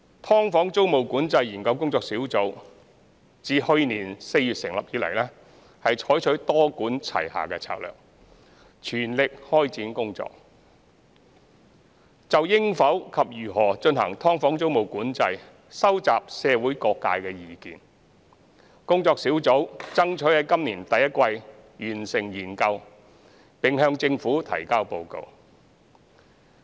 "劏房"租務管制研究工作小組自去年4月成立以來，採取多管齊下的策略，全力開展工作，就應否及如何進行"劏房"租務管制收集社會各界的意見。工作小組爭取在今年第一季完成研究，並向政府提交報告。